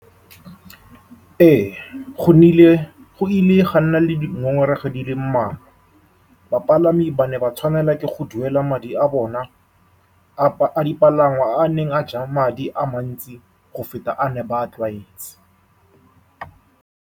Ee, go nnile, go ile ga nna le dingongorego di le mmalwa. Bapalami ba ne ba tshwanelwa ke go duela madi a bona a dipalangwa, a a neng a ja madi a mantsi go feta a ne ba tlwaetse.